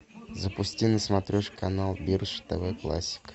запусти на смотрешке канал бридж тв классик